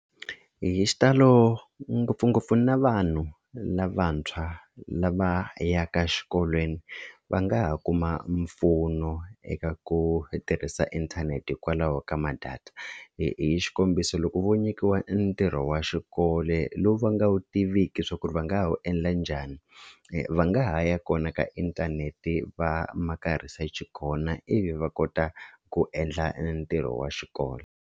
Hi xitalo ngopfungopfu na vanhu lavantshwa lava yaka xikolweni va nga ha kuma mpfuno eka ku tirhisa inthanete hikwalaho ka ma-data hi hi xikombiso loko vo nyikiwa ntirho wa xikolo lowu va nga wu tiviki swa ku ri va nga ha wu endla njhani va nga ha ya kona ka inthanete va maka research kona ivi va kota ku endla ntirho wa xikolo.